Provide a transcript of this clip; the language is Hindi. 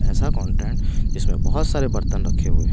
ऐसा कॉन्टेंन जिसमें बहुत सारे बर्तन रखे हुए हैं।